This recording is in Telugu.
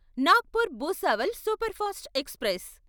Nagpur Bhusawal superfast express